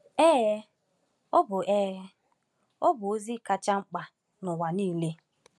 Ee, ọ bụ Ee, ọ bụ ozi kacha mkpa n’ụwa niile!